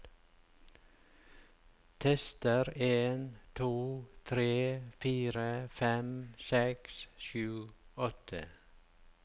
Tester en to tre fire fem seks sju åtte